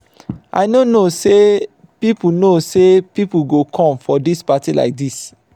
i no know say people know say people go come for dis party like dis.